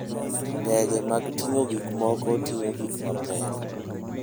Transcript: Ndege mag ting'o gik moko ting'o gik mapek.